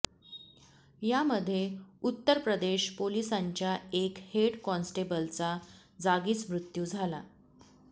यामध्ये उत्तर प्रदेश पोलिसांच्या एक हेड कॉन्स्टेबलचा जागीच मृत्यू झाला